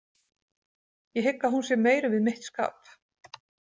Ég hygg að hún sé meir við mitt skap.